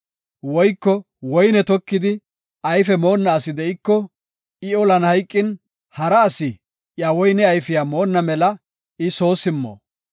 Woyko woyne tokidi, ayfe moonna asi de7iko, I olan hayqin, hara asi iya woyne ayfiya moonna mela I soo simmo.